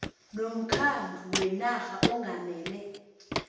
nomkhandlu wenarha ongamele